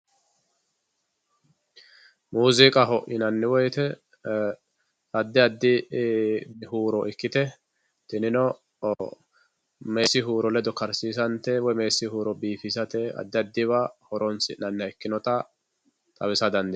muuziiqaho yinanni woyiite addi addi huuro ikkite tinino meesi huuro ledo karsiisantte woye meesi huuro biifisate addi addiwa horonsi'naniha ikkinota xawisa dandiinayii.